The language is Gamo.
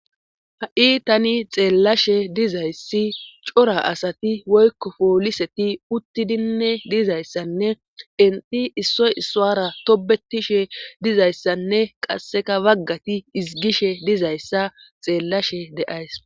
Ha'i tani xeellashe dizayssi cora asati woykko pooliseti uttidinne dizayssanne inti issoy issoara tobetishe dizayssanne qasseka waggati izigishe dizayssa xeellashe deays